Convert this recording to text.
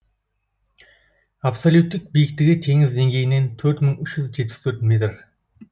абсолюттік биіктігі теңіз деңгейінен төрт мың үш жүз жетпіс төрт метр